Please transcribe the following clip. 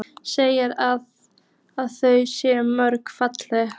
Segir að þau séu mjög falleg.